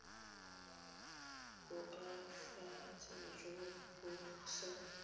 bo koafatsang jo bo sa